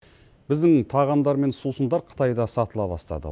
біздің тағамдар мен сусындар қытайда сатыла бастады